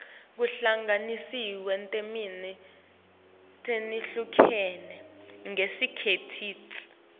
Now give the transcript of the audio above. kuhlanganiswa netine letihlukene ngesikhatsi